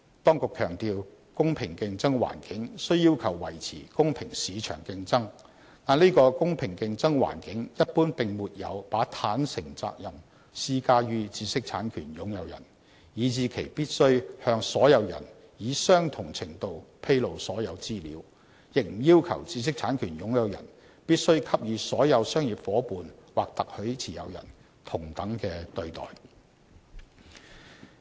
當局強調，"公平競爭環境"雖要求維持公平市場競爭，但這個"公平競爭環境"一般並沒有把"坦誠責任"施加於知識產權擁有人，以致其必須向所有人以相同程度披露所有資料，亦不要求知識產權擁有人必須給予所有商業夥伴/特許持有人同等的對待。